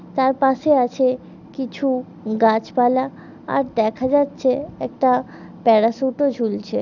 তার পাশে আছে কিছু গাছপালা আর দেখা যাচ্ছে একটা প্যারাসুট -ও ঝুলছে।